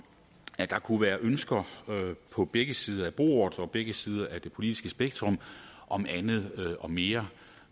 at der kunne være ønsker på begge sider af bordet på begge sider af det politiske spektrum om andet og mere